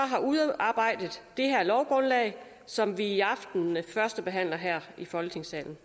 udarbejdet det her lovgrundlag som vi i aften førstebehandler her i folketingssalen